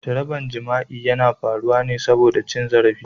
Jarabar jima'i yana faruwa ne saboda cin zarafin.